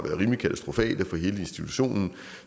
rimelig katastrofale for hele institutionen